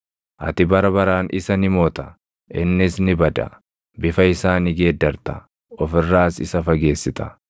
Ati bara baraan isa ni moota; innis ni bada; bifa isaa ni geeddarta; of irraas isa fageessita.